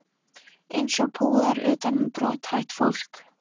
Eins og púðar utan um brothætt fólk.